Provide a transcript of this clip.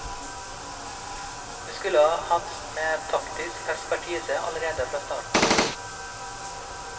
Vi skulle hatt med taktisk ekspertise allerede fra start.